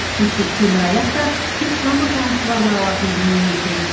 сөйтсе темір аяқ та тек тамыр танысы барлар алатын дүние екен